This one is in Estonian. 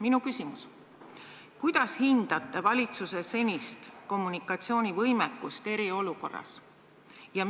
Minu küsimus: kuidas hindate valitsuse senist kommunikatsioonivõimekust eriolukorras?